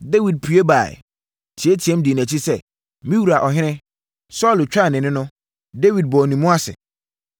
Dawid pue baeɛ, teateaam dii nʼakyi sɛ, “Me wura ɔhene!” Saulo twaa nʼani no, Dawid bɔɔ ne mu ase.